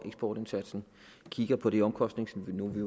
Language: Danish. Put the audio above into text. eksportindsatsen kigger på det omkostningsniveau vi